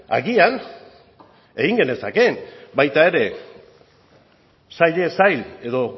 agian egin genezakeen baita ere sailez sail edo